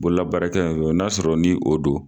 Bolola baarakɛ n y'a sɔrɔ ni o don.